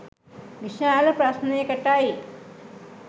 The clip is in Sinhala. විශාල ප්‍රශ්නයකටයි.